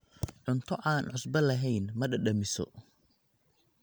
Cunto aan cusbo lahayn ma dhadhamiso.